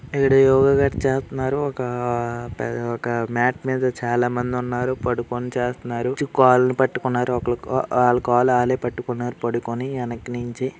ఇక్కడ యోగ మ్యాట్ చాకుమారు ఒక మ్యాట్ మీద చాలామంది ఉన్నారు పడుకొని చేస్తున్నారు. కాళ్ళు పట్టుకున్నారు. ఒకళ్ళ వాళ్ల కాళ్ళు వాళ్లే పట్టుకున్నారు. పడుకొని వెనక నుంచి--